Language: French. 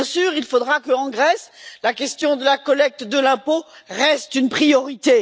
Il faudra qu'en Grèce, la question de la collecte de l'impôt reste une priorité.